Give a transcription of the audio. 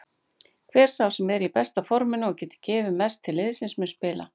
Hver sá sem er í besta forminu og getur gefið mest til liðsins mun spila.